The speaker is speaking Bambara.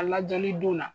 A lajɔli don